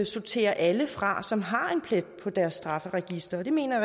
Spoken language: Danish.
sorterer alle fra som har en plet på deres straffeattest og det mener